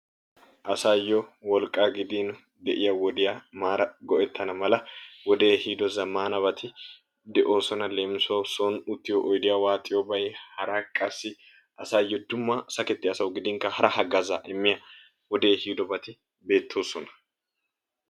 Asaayo wolqqa gidin de"iya wodiya maara go"ettana mala wodee ehiido zammaanabati de"oosona. Leemisuwawu son uttiyo oydiya waaxiyobayi hara qassi asaayo dumma sakettiya asawu gidinkka hara haggaazaa immiya wodee ehiidobati beettoosona.